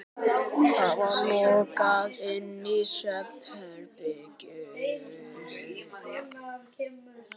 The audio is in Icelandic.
Það var lokað inn í svefnherbergið.